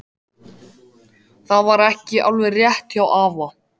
Það var ekki alveg rétt hjá afa.